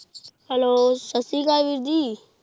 Hello ਸਤਿ ਸ੍ਰੀ ਅਕਾਲ ਵੀਰ ਜੀ।